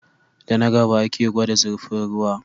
Da na gaba ake gwada zirfin ruwa